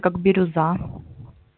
как бирюза